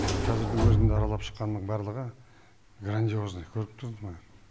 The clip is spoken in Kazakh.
қазірдің өзінде аралап шыққанның барлығы грандиозный көріп тұрмын мен